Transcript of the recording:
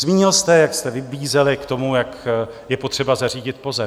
Zmínil jste, jak jste vybízeli k tomu, jak je potřeba zařídit POZE.